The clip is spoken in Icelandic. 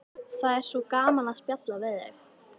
Það er svo gaman að spjalla við þig.